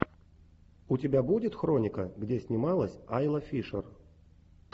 у тебя будет хроника где снималась айла фишер